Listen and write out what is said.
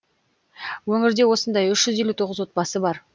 өңірде осындай үш жүз елу тоғыз бар